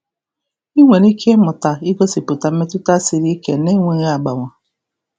Ị nwere ike ịmụta igosipụta mmetụta siri ike na-enweghị agbawa.